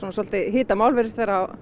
svolítið hitamál virðist vera á